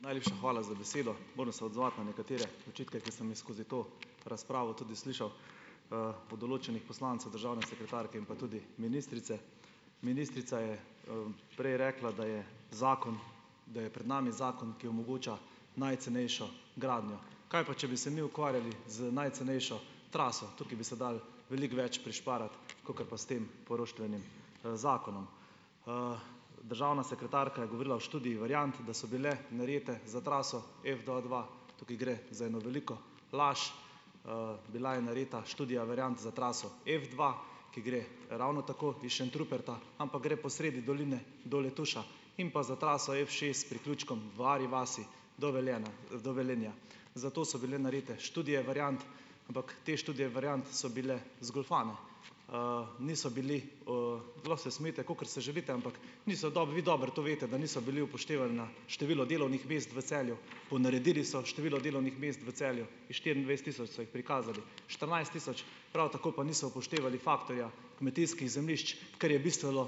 Najlepša hvala za besedo. Moram se odzvati na nekatere očitke, ko sem jih skozi to razpravo tudi slišal, od določenih poslancev, državne sekretarke in pa tudi ministrice. Ministrica je, prej rekla, da je zakon, da je pred nami zakon, ki omogoča najcenejšo gradnjo. Kaj pa, če bi se mi ukvarjali z najcenejšo traso? Tukaj bi se dalo veliko več prišparati, kakor pa s tem poroštvenim, zakonom. Državna sekretarka je govorila o študiji variant, da so bile narete za traso F dva dva. Tukaj gre za eno veliko laž. Bila je nareta študija variant za traso F dva, ki gre ravno tako iz Šentruperta, ampak gre po sredi doline do Letuša, in pa za traso F šest s priključkom v Arji vasi do Velenja, do Velenja. Zato so bile narejene študije variant, ampak te študije variant so bile zgoljufane. Niso bili, lahko se smejite, kakor se želite, ampak niso vi dobro to veste, da ni bilo upoštevano število delovnih mest v Celju, ponaredili so število delovnih mest v Celju, iz štiriindvajset tisoč so jih prikazali štirinajst tisoč, prav tako pa niso upoštevali faktorja kmetijskih zemljišč, kar je bistveno,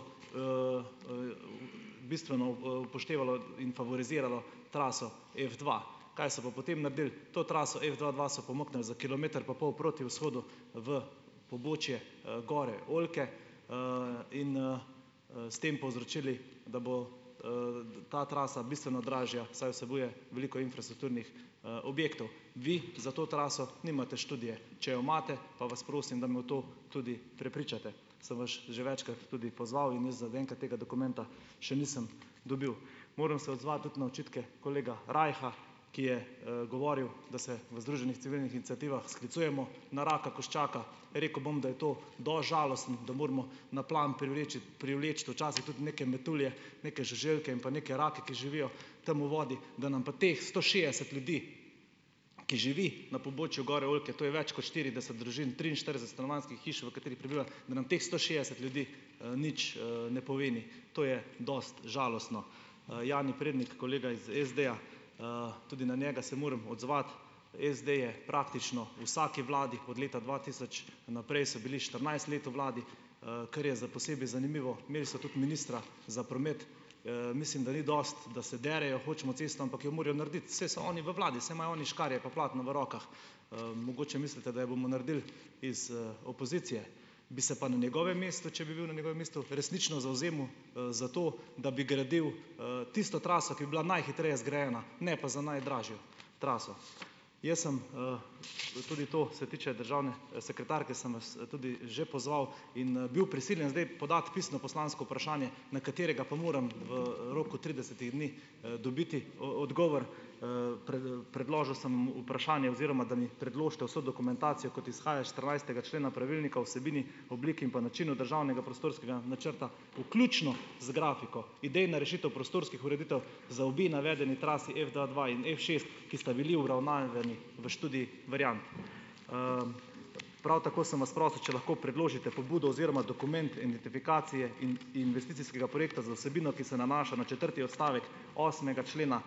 bistveno, upoštevalo in favoriziralo traso F dva. Kaj so pa potem naredili? To traso F dva dva so pomaknili za kilometer pa pol proti vzhodu v pobočje Gore Oljke, in, s tem povzročili, da bo, ta trasa bistveno dražja, saj vsebuje veliko infrastrukturnih, objektov. Vi za to traso nimate študije. Če jo imate, pa vas prosim, da me v to tudi prepričate. Sem vas že večkrat tudi pozval in jaz zaenkrat tega dokumenta še nisem dobil. Moram se odzvati tudi na očitke kolega Rajha, ki je, govoril, da se v združenih civilnih iniciativah sklicujemo na raka koščaka. Rekel bom, da je to dosti žalostno, da moramo na plan privleči včasih tudi neke metulje, neke žuželke in pa neke rake, ki živijo tam v vodi, da nam pa teh sto šestdeset ljudi, ki živi na pobočju Gore Oljke, to je več kot štirideset družin, triinštirideset stanovanjskih hiš, v katerih prebiva, da nam teh sto šestdeset ljudi, nič, ne pomeni, to je dosti žalostno. Jani Prednik, kolega iz SD-ja, tudi na njega se moram odzvat. SD je praktično v vsaki vladi, od leta dva tisoč naprej so bili štirinajst let v vladi, kar je za posebej zanimivo, imeli so tudi ministra za promet. Mislim, da ni dosti, da se derejo: "Hočemo cesto," ampak jo morajo narediti, saj so oni v vladi, saj imajo oni škarje pa platno v rokah. Mogoče mislite, da jo bomo naredili iz, opozicije. Bi se pa na njegovem mestu, če bi bil na njegovem mestu, resnično zavzemal, za to, da bi gradil, tisto traso, ki bi bila najhitreje zgrajena, ne pa za najdražjo traso. Jaz sem, tudi to se tiče državne sekretarke, sem vas tudi že pozval in, bil prisiljen zdaj podati pisno poslansko vprašanje, na katerega pa moram v roku tridesetih dni, dobiti odgovor. Predložil sem vprašanje, oziroma da mi predložite vso dokumentacijo, kot izhaja iz štirinajstega člena pravilnika o vsebini, oblik in pa načinu državnega prostorskega načrta, vključno z grafiko. Idejna rešitev prostorskih ureditev za obe navedeni trasi F dva dva in F šest, ki sta bili obravnavani v študiji variant. Prav tako sem vas prosil, če lahko predložite pobudo oziroma dokument, identifikacije investicijskega projekta z vsebino, ki se nanaša na četrti odstavek osmega člena,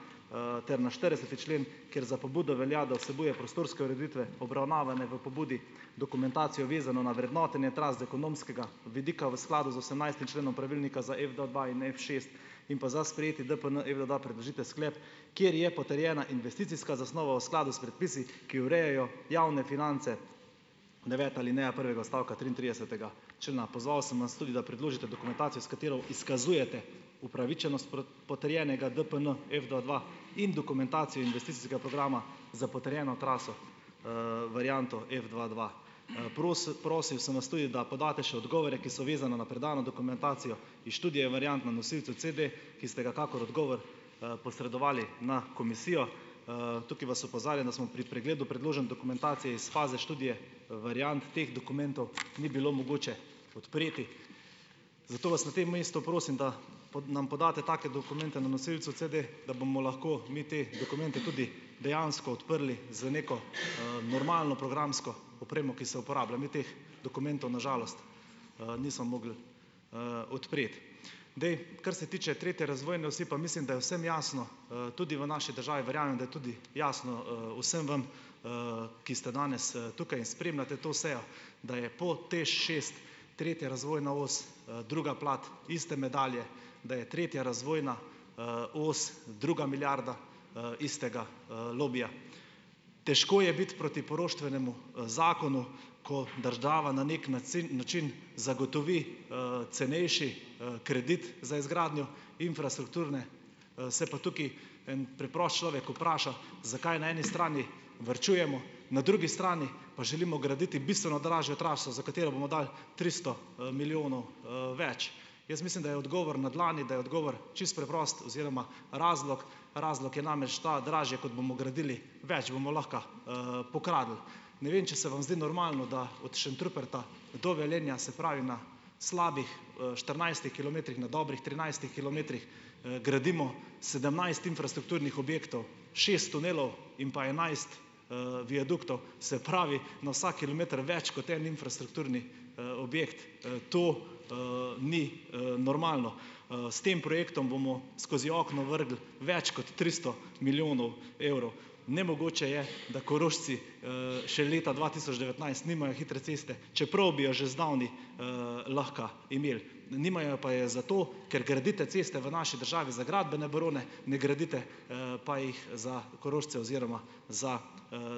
ter na štirideseti člen, ker za pobudo velja, da vsebuje prostorske ureditve obravnavane v pobudi dokumentacijo, vezano na vrednotenje tras z ekonomskega vidika v skladu z osemnajstim členom pravilnika za F dva dva in F šest in pa za sprejeti DPN, da predložite sklep, kjer je potrjena investicijska zasnova v skladu s predpisi, ki urejajo javne finance, deveta alineja prvega odstavka triintridesetega člena. Pozval sem vas tudi, da predložite dokumentacijo, s katero izkazujete upravičenost potrjenega DPN, F dva dva in dokumentacijo investicijskega programa za potrjeno traso, varianto F dva dva. prosil sem vas tudi, da podate še odgovore, ki so vezana na predano dokumentacijo iz študije variant na nosilcu CD, ki ste ga kakor odgovor, posredovali na komisijo. Tukaj vas opozarjam, da smo pri pregledu predložene dokumentacije iz faze študije variant teh dokumentov ni bilo mogoče odpreti. Zato vas na tem mestu prosim, da nam podate take dokumente na nosilcu CD, da bomo lahko mi te dokumente tudi dejansko odprli z neko, normalno programsko opremo, ki se uporablja. Mi teh dokumentov na žalost, nismo mogli, odpreti. Zdaj. Kar se tiče tretje razvojne osi, pa mislim, da je vsem jasno, tudi v naši državi, verjamem da tudi jasno, vsem vam, ki ste danes, tukaj in spremljate to sejo, da je po TEŠ šest tretja razvojna os, druga plat iste medalje, da je tretja razvojna, os druga milijarda, istega, lobija. Težko je biti proti poroštvenemu, zakonu, ko država na neki nacin način zagotovi, cenejši, kredit za izgradnjo infrastrukture, se pa tukaj en preprost človek vpraša, zakaj na eni strani varčujemo, na drugi strani pa želimo graditi bistveno dražjo traso, za katero bomo dali tristo, milijonov, več. Jaz mislim, da je odgovor na dlani, da je odgovor čisto preprosto oziroma razlog, razlog je namreč ta, dražje, kot bomo gradili, več bomo lahko, pokradli. Ne vem, če sem vam zdi normalno, da od Šentruperta do Velenja, se pravi na slabih, štirinajstih kilometrih, na dobrih trinajstih kilometrih, gradimo sedemnajst infrastrukturnih objektov, šest tunelov in pa enajst, viaduktov, se pravi, na vsak kilometer več kot en infrastrukturni, objekt. To, ni, normalno. S tem projektom bomo skozi okno vrgli več kot tristo milijonov evrov. Nemogoče je, da Korošci, še leta dva tisoč devetnajst nimajo hitre ceste, čeprav bi jo že zdavnaj, lahko imeli. Nimajo pa je zato, ker gradite ceste v naši državi za gradbene barone, ne gradite, pa jih za Korošče oziroma za,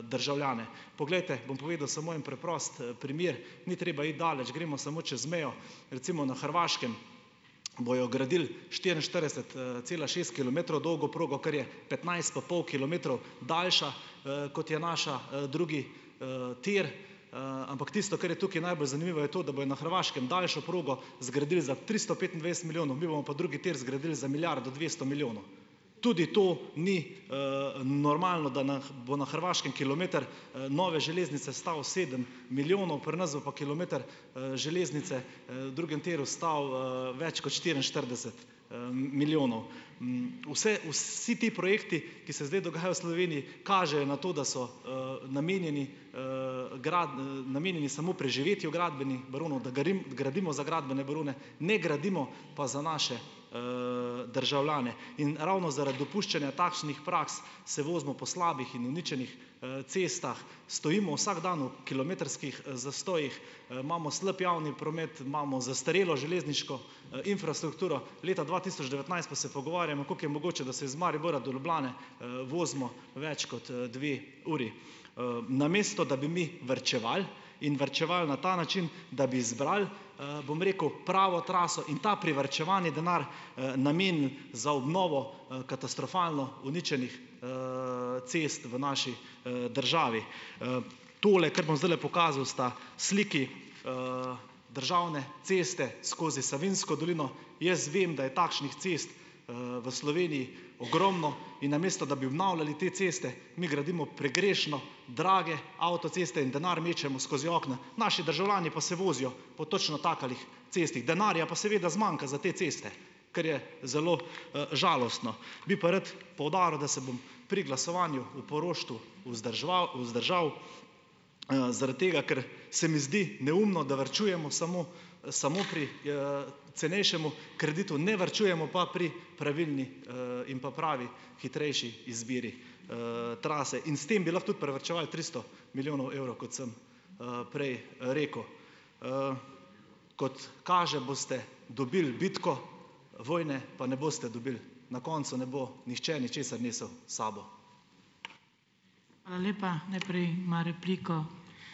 državljane. Poglejte, bom povedal samo en preprost primer. Ni treba iti daleč, gremo samo čez mejo, recimo na Hrvaškem bojo gradili štiriinštirideset cela šest kilometrov dolgo progo, kar je petnajst pa pol kilometrov daljša, kot je naša, drugi, tir, ampak tisto, kar je tukaj najbolj zanimivo, je to, da bojo na Hrvaškem daljšo progo zgradili za tristo petindvajset milijonov, mi bomo pa drugi tir zgradili za milijardo dvesto milijonov. Tudi to ni, normalno, da na bo na Hrvaškem kilometer, nove železnice stal sedem milijonov, pri nas bo pa kilometer, železnice, na drugem tiru stal, več kot štiriinštirideset, milijonov. Vse vsi ti projekti, ki se zdaj dogajajo v Sloveniji, kažejo na to, da so, namenjeni, namenjeni samo preživetju gradbenih baronov, da gradimo za gradbene barone, ne gradimo pa za naše, državljane. In ravno zaradi dopuščanja takšnih praks se vozimo po slabih in uničenih, cestah, stojimo vsak dan v kilometrskih, zastojih, imamo slab javni promet, imamo zastarelo železniško, infrastrukturo, leta dva tisoč devetnajst pa se pogovarjamo, koliko je mogoče, da se iz Maribora do Ljubljane, vozimo več kot, dve uri. Namesto da bi mi varčevali in varčevali na ta način, da bi izbrali, bom rekel, pravo traso in ta privarčevani denar, namenili za obnovo, katastrofalno uničenih, cest v naši, državi. Tole, kar bom zdajle pokazal, sta sliki državne ceste skozi Savinjsko dolino, jaz vem, da je takšnih cest, v Sloveniji ogromno, in namesto da bi obnavljali te ceste, mi gradimo pregrešno drage avtoceste in denar mečemo skozi okno. Naši državljani pa se vozijo po točno takih cestah, denarja pa seveda zmanjka za te ceste, kar je zelo, žalostno. Bi pa rad poudaril, da se bom pri glasovanju o poroštvu vzdržal, zaradi tega, ker se mi zdi neumno, da varčujemo samo samo pri, cenejšemu kreditu ne varčujemo pa pri pravilni, in pa pravi hitrejši izbiri, trase in s tem bi lahko tudi privarčevali tristo milijonov evrov, kot sem, prej rekel. Kot kaže, boste dobili bitko, vojne pa ne boste dobili, na koncu ne bo nihče ničesar nesel s sabo.